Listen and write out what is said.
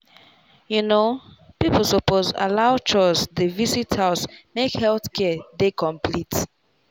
people suppose allow chws dey visit house make health care dey complete.